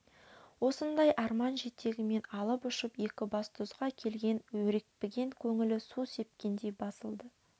осындай арман жетегімен алып ұшып екібастұзға келген өрекпіген көңілі су сепкендей басылды